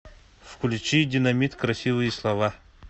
включи динамит красивые слова